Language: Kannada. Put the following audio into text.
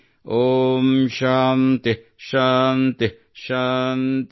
ಓಂ ಶಾಂತಿಃಶಾಂತಿಃಶಾಂತಿಃ